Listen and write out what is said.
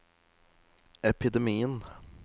epidemien